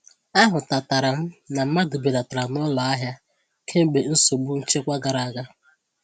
A hụtatara m na mmadụ belatara n'ụlọ ahia kemgbe nsogbu nchekwa gara aga.